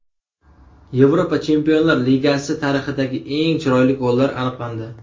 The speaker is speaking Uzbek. Yevropa Chempionlar Ligasi tarixidagi eng chiroyli gollar aniqlandi .